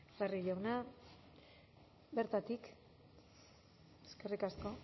barrio jauna bertatik eskerrik asko